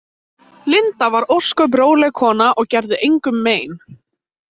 Linda var ósköp róleg kona og gerði engum mein.